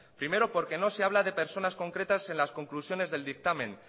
primero porque no se habla de personas concretas en las conclusiones del dictamen